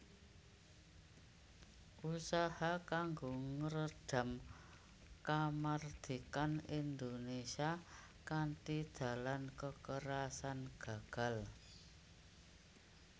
Usaha kanggo ngredam kamardikan Indonesia kanthi dalan kekerasan gagal